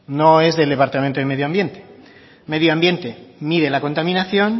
no es del departamento de medioambiente medioambiente mide la contaminación